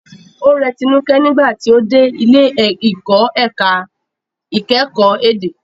Ó rẹ Tinuke nígbà tí ó dé ilé ìkọ́ ẹ̀ka ìkẹ́kọ̀ọ́ èdè.